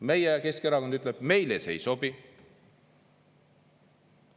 Meie, Keskerakond ütleb, meile see ei sobi.